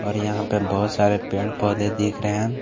और यहां पे बहोत सारे पेड़ पौधे दिख रहे हैं।